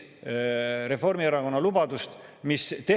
Tuletame meelde, et Reformierakond oli see, kes soovis tulumaksu vähendada.